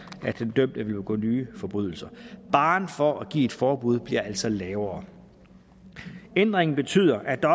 at den dømte vil begå nye forbrydelser barren for at give et forbud bliver altså sat lavere ændringen betyder at der